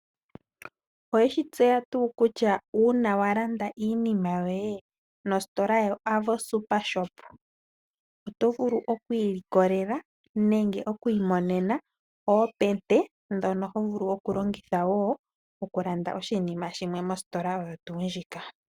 Oweshi tseya tuu kutya uuna walanda iinima yoye nositola yo Avo Super Shop otovulu okwiilikolela nenge okwiimonena oompete dhono hovulu okulongitha woo okulanda oshinima shimwe mositola oyo tuu ndjika.